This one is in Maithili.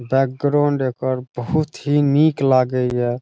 बैकग्राउंड एकर बहुत ही नीक लागे या ।